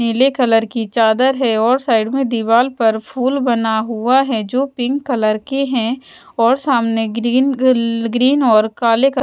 पीले कलर की चादर है और साइड में दीवाल पर फूल बना हुआ है जो पिंक कलर के है और सामने ग्रीन कल ग्रीन और काले कल--